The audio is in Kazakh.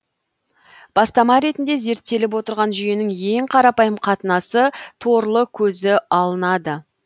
бастама ретінде зерттеліп отырған жүйенің ең қарапайым қатынасы торлы көзі алынады